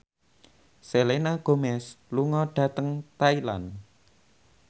Selena Gomez lunga dhateng Thailand